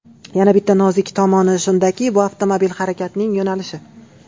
Yana bitta nozik tomoni shundaki bu avtomobil harakatining yo‘nalishi.